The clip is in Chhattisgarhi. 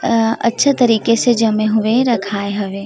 अ अच्छा तरीके से जमे हुए रखाये हवे।